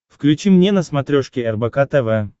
включи мне на смотрешке рбк тв